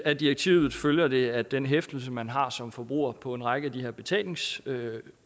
af direktivet følger det at den hæftelse man har som forbruger på en række af de her betalingsordninger